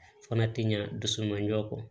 Fana tɛ ɲa dusu manjɔ kɔ